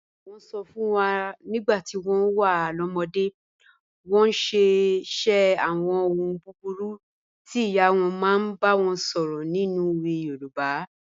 Wọ́n sọ fún wa nígbà tí wọ́n wà lọ́mọdé, wọ́n sì ń ṣe àwọn ohun búburú tí ìyá wọn máa ń bá wọn sọ̀rọ̀ nínú òwe Yorùbá.